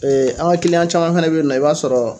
an ka kiliyan caman fɛnɛ bɛ yen nɔ i b'a sɔrɔ